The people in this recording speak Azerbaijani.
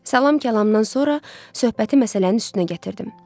Salam-kalamdan sonra söhbəti məsələnin üstünə gətirdim.